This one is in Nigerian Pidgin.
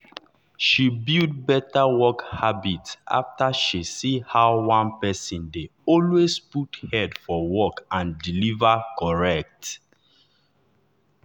she build better work habit after she see how one person dey always put head for work and deliver correct.